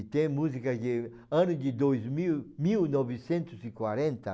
E tem música de... Ano de dois mil, mil novecentos e quarenta,